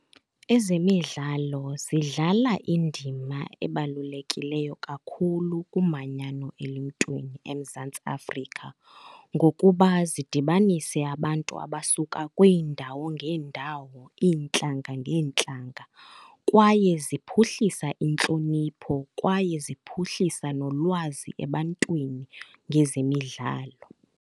Ezemidlalo zidlala indima ebalulekileyo kakhulu kumanyano eluntwini eMzantsi Afrika ngokuba zidibanise abantu abasuka kwiindawo ngeendawo, iintlanga ngeentlanga. Kwaye ziphuhlisa intlonipho kwaye ziphuhlisa nolwazi ebantwini ngezemidlalo.